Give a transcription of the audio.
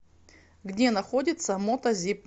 где находится мотозип